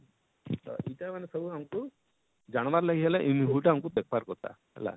ଇଟା ଇଟା ମାନେ ସବୁ ଆମକୁ ଜାନବାର ଲାଗି ହେଲେ ଇ movie ଟା ଦେଖ ବାର କଥା